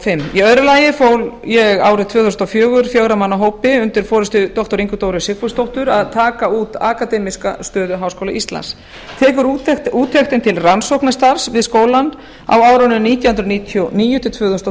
fimm í öðru lagi fól ég árið tvö þúsund og fjögur fjögurra manna hópi undir forystu doktor ingu dóru sigfúsdóttur að taka út akademíska stöðu háskóla íslands tekur úttektin til rannsóknastarfs við skólann á árunum nítján hundruð níutíu og níu til tvö þúsund og